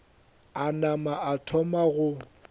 a nama a thoma go